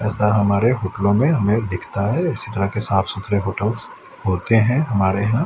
जैसा हमारे होटलों में हमें दिखता है इसी तरह के साफ सुथरे होटल्स होते हैं हमारे यहां--